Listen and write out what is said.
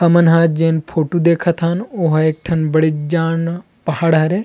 हमन हान जेन फोटो देख थन ओहा एक ठन बड़े जान पहाड़ हरे --